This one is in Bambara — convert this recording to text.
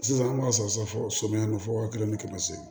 Sisan an b'a san safo sɔmiya fɔ waa kelen ni kɛmɛ seegin